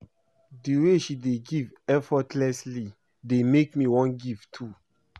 The way she dey give effortlessly dey make me wan give too